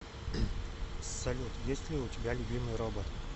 салют есть ли у тебя любимый робот